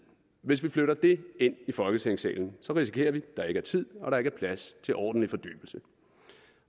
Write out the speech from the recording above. hvis vi flytter det ind i folketingssalen risikerer vi at der ikke er tid og der ikke er plads til ordentlig fordybelse